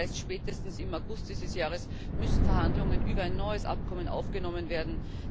aus. Das heißt, spätestens im August dieses Jahres müssen Verhandlungen über ein neues Abkommen aufgenommen werden.